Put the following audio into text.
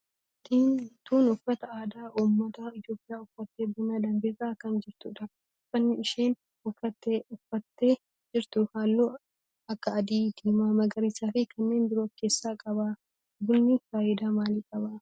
Dubartiin tun uffata aadaa ummata Itiyoophiyaa uffattee buna danfisaa kan jirtudha. Uffanni isheen uffattee jirtu halluu akka adii, diimaa, magariisaa fi kanneen biroo of keessaa qaba. Bunni faayidaa maalii qaba?